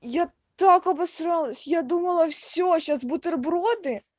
я так обосралась я думала все сейчас бутерброды